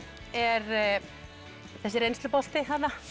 er þessi reynslubolti